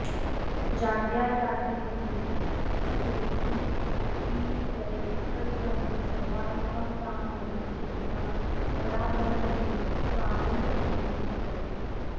जाड्याजाड्यमयीति केचिदितरे तद्ब्रह्म सर्वात्मकं तां नौमि त्रिपुरां परापरमयीं स्वानन्दसंवित्तये